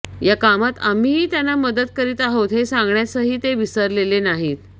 या कामात आम्हीही त्यांना मदत करीत आहोत हे सांगण्यासही ते विसरलेले नाहीत